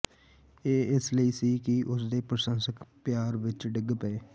ਇਹ ਇਸ ਲਈ ਸੀ ਕਿ ਉਸਦੇ ਪ੍ਰਸ਼ੰਸਕ ਪਿਆਰ ਵਿੱਚ ਡਿੱਗ ਪਏ